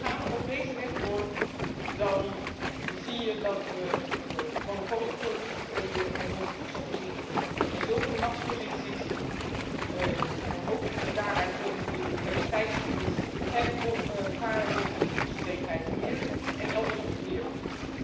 Want gaan we op deze weg door, dan gaan we monopolieposities creëren in onze voedselvoorziening en zulke machtsposities en ook het daaruit voortvloeiende biodiversiteitsverlies zijn gevaren voor onze voedselzekerheid hier en elders op de wereld.